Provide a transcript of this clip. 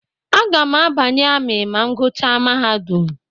Agam a banye ami ma m guchaa mahadum.